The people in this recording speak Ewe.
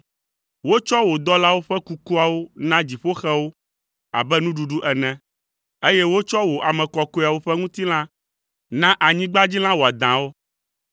Wotsɔ wò dɔlawo ƒe kukuawo na dziƒoxewo abe nuɖuɖu ene, eye wotsɔ wò ame kɔkɔeawo ƒe ŋutilã na anyigbadzilã wɔadãwo.